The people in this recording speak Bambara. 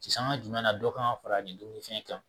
Sisanga jumɛn na dɔ kan ka fara nin dunni fɛn kan